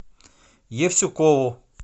евсюкову